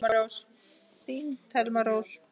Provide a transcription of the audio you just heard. Þín Thelma Rós.